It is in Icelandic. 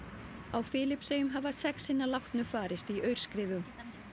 á Filippseyjum hafa sex hinna látnu farist í aurskriðum